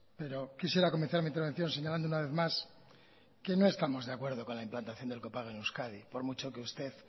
pero quisiera comenzar mi intervención señalando una vez más que no estamos de acuerdo con la implantación del copago en euskadi por mucho que usted